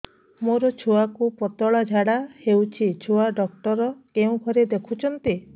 ମୋର ଛୁଆକୁ ପତଳା ଝାଡ଼ା ହେଉଛି ଛୁଆ ଡକ୍ଟର କେଉଁ ଘରେ ଦେଖୁଛନ୍ତି